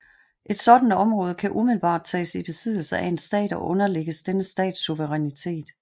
Et sådant område kan umiddelbart tages i besiddelse af en stat og underlægges denne stats suverænitet